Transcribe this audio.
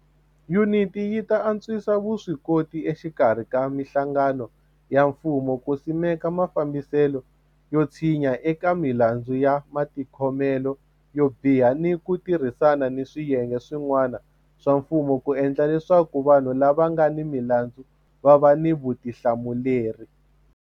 Yuniti yi ta antswisa vuswikoti exikarhi ka mihlangano ya mfumo ku simeka mafambiselo yo tshinya eka milandzu ya matikhomelo yo biha ni ku ti rhisana ni swiyenge swi n'wana swa mfumo ku endla leswaku vanhu lava nga ni milandzu va va ni vuthla muleri.